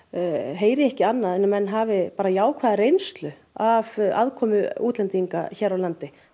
heyri ég ekki annað en menn hafi bara jákvæða reynslu af aðkomu útlendinga hér á landi